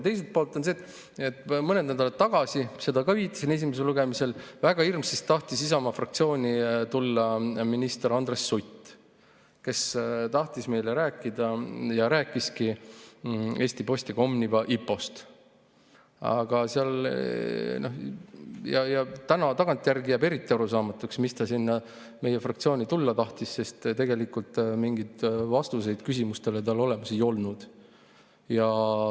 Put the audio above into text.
Teiselt poolt seda – viitasin sellele ka mõned nädalad tagasi esimesel lugemisel –, et väga hirmsasti tahtis Isamaa fraktsiooni tulla minister Andres Sutt, kes tahtis meile rääkida ja rääkiski Eesti Posti ehk Omniva IPO‑st. Aga tagantjärele on arusaamatu, miks ta meie fraktsiooni tulla tahtis, sest tegelikult mingeid vastuseid tal küsimustele ei olnud.